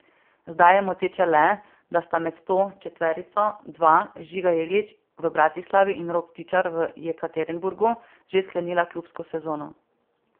Zdaj je moteče le, da sta med to četverico dva, Žiga Jeglič v Bratislavi in Rok Tičar v Jekaterinburgu, že sklenila klubsko sezono.